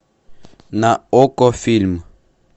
на окко фильм